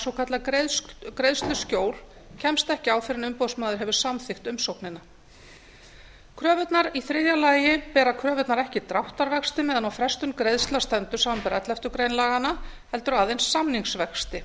svokallað greiðsluskjól kemst ekki á fyrr en umboðsmaður hefur samþykkt umsóknina í þriðja lagi bera kröfurnar ekki dráttarvexti meðan á frestun greiðslna stendur samanber elleftu grein laganna heldur aðeins